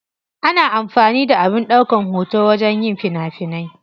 Ana amfani da abin daukan hoto wajen yin fina finai.